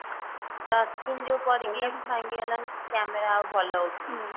touch screen ଯଉ ପଡିକି ଭାଙ୍ଗିଗଲାନି କି camera ଆଉ ଭଲ ଉଠୁନି